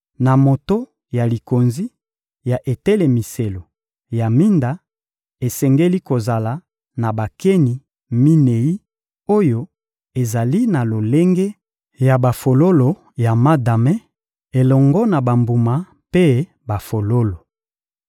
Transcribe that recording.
Na moto ya likonzi ya etelemiselo ya minda, esengeli kozala na bakeni minei oyo ezali na lolenge ya bafololo ya madame, elongo na bambuma mpe bafololo.